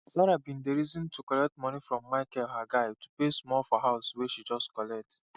sarah bin dey reason to collect moni from micheal her guy to pay small for house wey she just collect